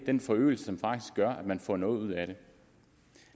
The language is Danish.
den forøgelse som gør at man får noget ud af det